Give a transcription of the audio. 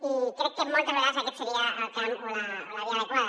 i crec que moltes vegades aquest seria el camp o la via adequada